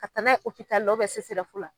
Ka taa n'a ye opitali la CSRF la.